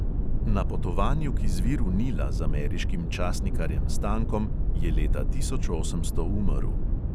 Na potovanju k izviru nila z ameriškim časnikarjem stankom je leta tisoč osemsto umrl.